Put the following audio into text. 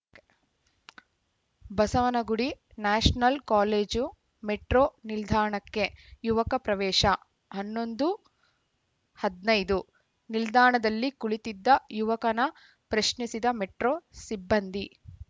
Basavanagudi national college metro ನಿಲ್ದಾಣಕ್ಕೆ ಯುವಕ ಪ್ರವೇಶ ಹನ್ನೊಂದು ಹದನೈದು ನಿಲ್ದಾಣದಲ್ಲಿ ಕುಳಿತಿದ್ದ ಯುವಕನ ಪ್ರಶ್ನಿಸಿದ ಮೆಟ್ರೋ ಸಿಬ್ಬಂದಿ